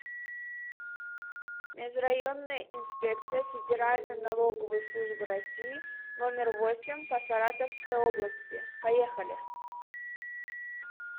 межрайонная инспекция федеральной налоговой службы россии номер восемь по саратовской области поехали